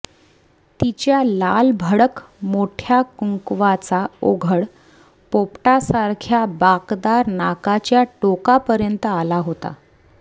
तिच्या लालभडक मोठ्या कुंकवाचा ओघळ पोपटासारख्या बाकदार नाकाच्या टोकापर्यंत आला होता